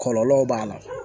Kɔlɔlɔw b'a la